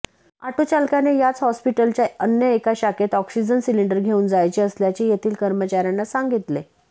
ऑटोचालकाने याच हॉस्पिटलच्या अन्य एका शाखेत ऑक्सिजन सिलिंडर घेऊन जायचे असल्याचे येथील कर्मचाऱ्यांना सांगितले